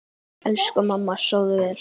Elsku mamma, sofðu vel.